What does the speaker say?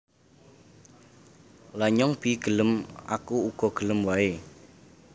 Lha nyong be gelem Aku uga gelem wae